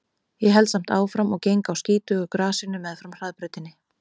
Ég held samt áfram og geng á skítugu grasinu meðfram hraðbrautinni.